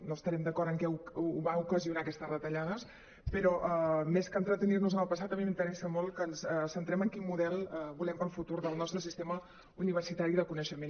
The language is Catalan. no estarem d’acord en què va ocasionar aquestes retallades però més que en·tretenir·nos en el passat a mi m’interessa molt que ens centrem en quin model volem per al futur del nostre sistema universitari i de coneixement